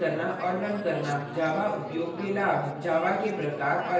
java के प्रकार और applications